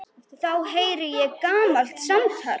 Þá heyri ég gamalt samtal.